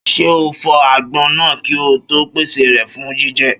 Ṣé ọ fọ àgbọn náà kí ọ to pèsè rẹ fún jíjẹ